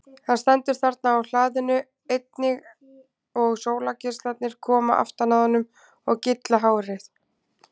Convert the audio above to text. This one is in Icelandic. Hann stendur þarna á hlaðinu einnig og sólargeislarnir koma aftan að honum og gylla hárið.